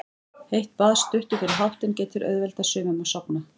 Heitt bað stuttu fyrir háttinn getur auðveldað sumum að sofna.